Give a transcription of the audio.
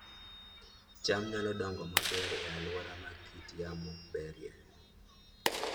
cham nyalo dongo maber e alwora ma kit yamo berie